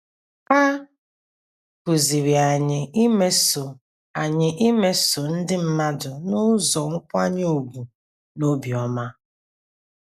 A kụziiri anyị imeso anyị imeso ndị mmadụ n’ụzọ nkwanye ùgwù na obiọma.